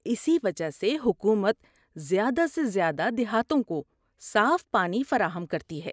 اسی وجہ سے حکومت زیادہ سے زیادہ دیہاتوں کو صاف پانی فراہم کرتی ہے۔